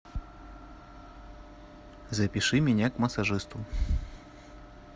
запиши меня к массажисту